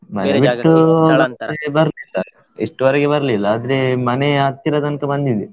ಮನೆ ಬಿಟ್ಟು ಇಷ್ಟ್ರ ಮತ್ತೆ ಬರ್ಲಿಲ್ಲ, ಇಷ್ಟ್ರ ವರೆಗೆ ಬರ್ಲಿಲ್ಲ ಆದ್ರೆ ಮನೆ ಹತ್ತಿರ ತನಕ ಬಂದಿದೆ.